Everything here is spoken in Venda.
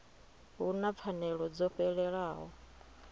hu na pfanelo dzo fhelelaho